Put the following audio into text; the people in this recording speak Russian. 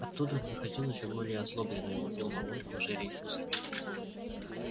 оттуда он выходил ещё более озлобленный и лупил мамульку уже рейтузами